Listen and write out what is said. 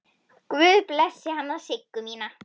Guð blessi hana Siggu mína.